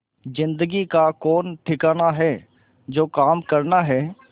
जिंदगी का कौन ठिकाना है जो काम करना है